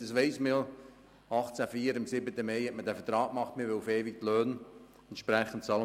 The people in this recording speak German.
Am 7. Mai 1804 hat man vertraglich festgehalten, man wolle die Löhne auf ewig bezahlen.